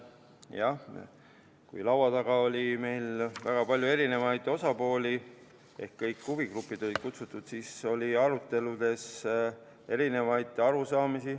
Jah, kui laua taga oli meil väga palju eri osapooli ehk kõik huvigrupid olid kutsutud, siis oli aruteludes eri arusaamu.